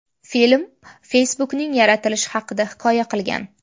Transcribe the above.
Film Facebook’ning yaratilishi haqida hikoya qilgan.